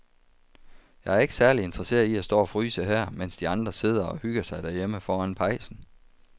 Jeg er ikke særlig interesseret i at stå og fryse her, mens de andre sidder og hygger sig derhjemme foran pejsen.